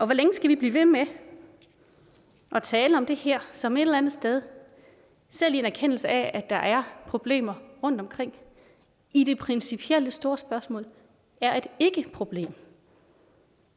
hvor længe skal vi blive ved med at tale om det her som et eller andet sted selv i en erkendelse af at der er problemer rundtomkring i det principielle store spørgsmål er et ikkeproblem